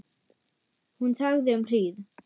Hún þagði um hríð.